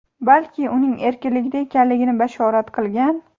balki uning erkinligida ekanligini bashorat qilgan.